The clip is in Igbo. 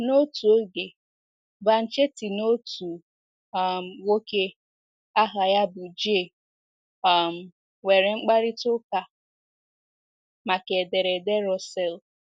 N’otu oge, Banchetti na otu um nwoke aha ya bụ J um nwere mkparịta ụka make ederede Russell.